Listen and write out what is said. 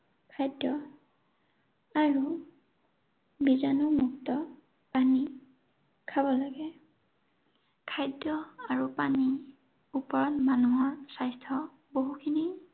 খাদ্য আৰু বীজাণুমুক্ত পানী খাব লাগে। খাদ্য আৰু পানীৰ ওপৰত মানুহৰ স্বাস্থ্য বহুখিনি